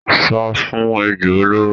Sá fún ejò olóró.